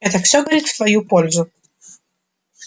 это всё говорит в твою пользу